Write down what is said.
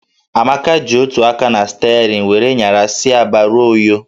Amaka ji otu aka na sterịn were nyara si Aba ruo Uyo